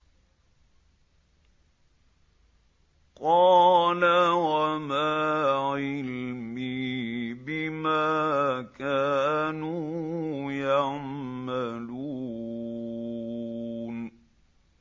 قَالَ وَمَا عِلْمِي بِمَا كَانُوا يَعْمَلُونَ